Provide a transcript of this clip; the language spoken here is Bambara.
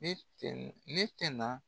Ne tɛ ne tɛ na